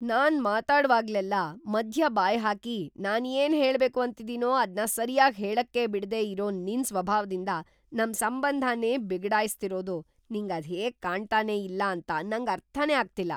ನಾನ್‌ ಮಾತಾಡ್ವಾಗ್ಲೆಲ್ಲ ಮಧ್ಯ ಬಾಯ್‌ ಹಾಕಿ ನಾನ್‌ ಏನ್‌ ಹೇಳ್ಬೇಕು ಅಂತಿದೀನೋ ಅದ್ನ ಸರ್ಯಾಗ್‌ ಹೇಳಕ್ಕೇ ಬಿಡ್ದೇ ಇರೋ ನಿನ್‌ ಸ್ವಭಾವದಿಂದ ನಮ್‌ ಸಂಬಂಧನೇ ಬಿಗಡಾಯ್ಸ್ತಿರೋದು ನಿಂಗ್‌ ಅದ್ಹೇಗ್‌ ಕಾಣ್ತನೇ ಇಲ್ಲ ಅಂತ ನಂಗ್ ಅರ್ಥನೇ ಆಗ್ತಿಲ್ಲ!